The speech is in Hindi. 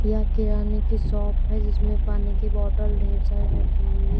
यह किराने की शॉप है जिसमें पानी की बॉटल ढेर सारी रखी हुई है।